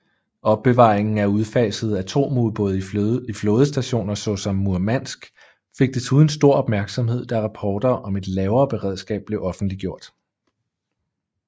Opbevaringen af udfasede atomubåde i flådestationer såsom Murmansk fik desuden stor opmærksomhed da rapporter om et lavere beredskab blev offentliggjort